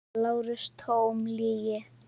LÁRUS: Tóm lygi!